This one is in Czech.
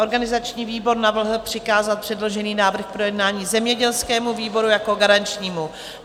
Organizační výbor navrhl přikázat předložený návrh k projednání zemědělskému výboru jako garančnímu.